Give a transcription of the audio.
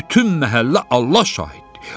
Bütün məhəllə Allah şahiddir.